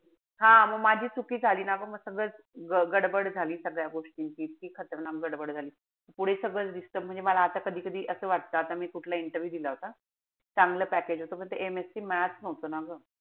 हा म माझी चुकी झाली ना. म सगळंच गडबड झाली सगळ्या गोष्टींची. इतकी खतरनाक गडबड झाली. पुढे सगळं disturb म्हणजे आता मला कधी-कधी असं वाटत. आता मी कुठला interview दिला होता. चांगलं package होत पण ते MSC math नव्हतं ना ग.